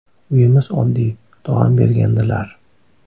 Uyimiz oddiy, tog‘am bergandilar.